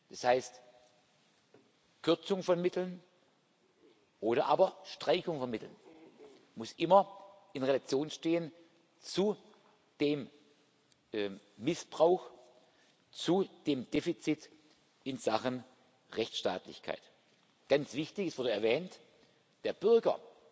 bestehen. Das heißt, Kürzung von Mitteln oder aber Streichung von Mitteln muss immer in Relation stehen zu dem Missbrauch, zu dem Defizit in Sachen Rechtsstaatlichkeit. Ganz wichtig es wurde erwähnt